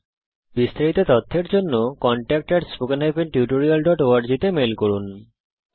এই বিষয়ে বিস্তারিত তথ্যের জন্য contactspoken tutorialorg তে ইমেল করুন